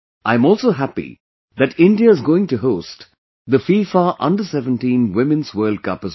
I am also happy that India is going to host the FIFA Under 17 Women's World Cup as well